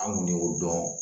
An kun y'o dɔn